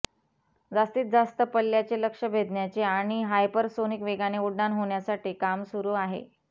जास्तीजास्त पल्ल्याचे लक्ष्य भेदण्याचे आणि हायपरसोनिक वेगाने उड्डाण होण्यासाठी काम सुरू आहे